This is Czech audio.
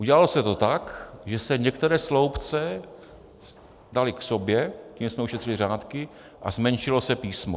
Udělalo se to tak, že se některé sloupce daly k sobě, tím jsme ušetřili řádky, a zmenšilo se písmo.